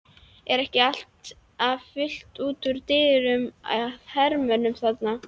Er ekki alltaf fullt út úr dyrum af hermönnum þarna?